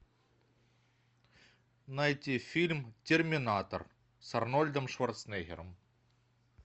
найти фильм терминатор с арнольдом шварценеггером